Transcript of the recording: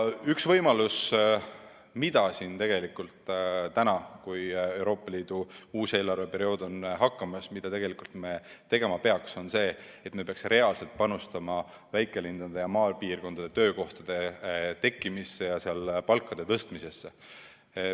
Üks asi, mida me tegelikult praegu, kui Euroopa Liidu uus eelarveperiood on algamas, tegema peaksime, on see, et me peaksime reaalselt panustama väikelinnades ja maapiirkondades töökohtade loomisesse ja sealsete palkade tõstmisesse.